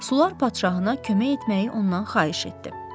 Sular padşahına kömək etməyi ondan xahiş etdi.